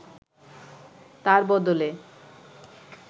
তার বদলে